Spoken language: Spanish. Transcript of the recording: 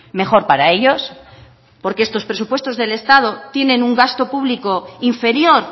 mejor para ellos porque estos presupuestos del estado tienen un gasto público inferior